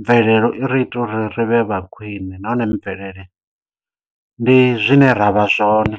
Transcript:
mvelelo i ri ita uri ri vhe vha khwine nahone mvelele ndi zwine ra vha zwone.